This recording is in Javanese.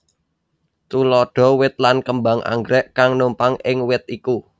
Tuladha wit lan kembang anggrèk kang numpang ing wit iku